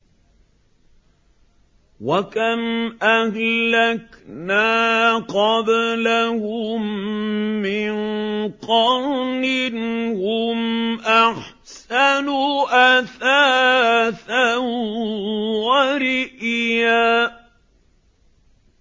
وَكَمْ أَهْلَكْنَا قَبْلَهُم مِّن قَرْنٍ هُمْ أَحْسَنُ أَثَاثًا وَرِئْيًا